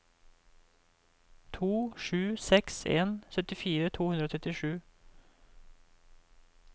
to sju seks en syttifire to hundre og trettisju